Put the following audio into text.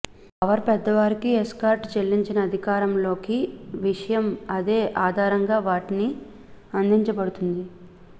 power పెద్దవారికి escort చెల్లించిన అధికారంలోకి విషయం అదే ఆధారంగా వాటిని అందించబడుతుంది